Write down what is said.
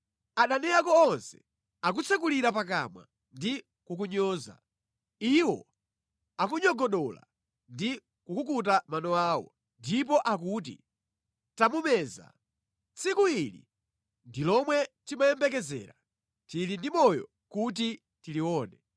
Adani ako onse akutsekulira pakamwa ndi kukunyoza; iwo akunyogodola ndi kukukuta mano awo, ndipo akuti, “Tamumeza. Tsiku ili ndi lomwe timayembekezera; tili ndi moyo kuti tilione.”